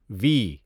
وی